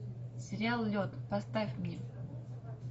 сериал лед поставь мне